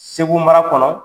Segu mara kɔnɔ